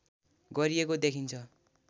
गरिएको देखिन्छ